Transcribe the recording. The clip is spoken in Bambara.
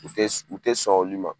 U tɛ u tɛ sɔn olu ma.